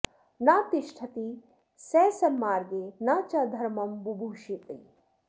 न तिष्ठिति स सन्मार्गे न च धर्मं बुभूषति